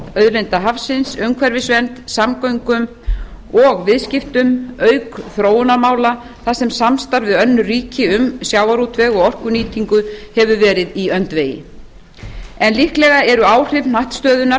auðlinda hafsins umhverfisvernd samgöngum og viðskiptum auk þróunarmála þar sem samstarf við önnur ríki um sjávarútveg og orkunýtingu hefur verið í öndvegi en líklega eru áhrif hnattstöðunnar